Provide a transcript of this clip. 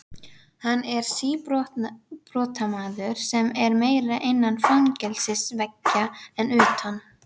Hann er síbrotamaður sem er meira innan fangelsisveggja en utan.